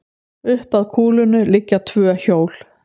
Upp að kúlunni liggja tvö hjól.